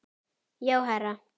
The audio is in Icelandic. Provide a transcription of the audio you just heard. Já, herra